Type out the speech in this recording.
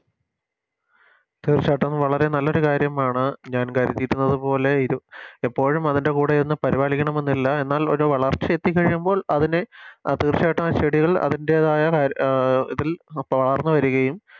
തീർച്ചയായിട്ടും വളരെ നല്ലൊരു കാര്യമാണ് ഞാൻ കരുതിയിരുന്നത് പോലെ ഇപ്പോഴും അതിൻറെ കൂടെ ഇരുന്ന് പരിപാലിക്കണമെന്നില്ല എന്നാൽ ഒര് വളർച്ച എത്തിക്കഴിയുമ്പോൾ അതിനെ തീർച്ചയായിട്ടും ആ ചെടികൾ അതിൻറെതായ അഹ് ഇതിൽ വളർന്ന് വരുകയും